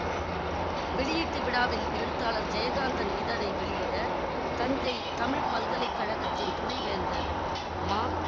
வெளியீட்டு விழாவில் எழுத்தாளர் ஜெயகாந்தன் இதழை வெளியிட தஞ்சை தமிழ் பல்கலை கழகத்தின் துணைவேந்தர் ம